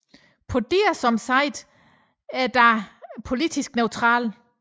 Podia som site er dog politisk neutralt